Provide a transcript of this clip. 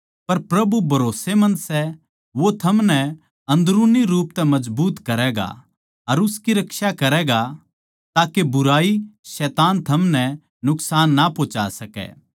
पर प्रभु भरोस्सेमंद सै वो थमनै अन्दरूनी रूप तै मजबूत करैगा अर उसकी रक्षा करैगा ताके बुराई शैतान थमनै नुकसान ना पंहुचा सकै